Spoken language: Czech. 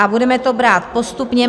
A budeme to brát postupně.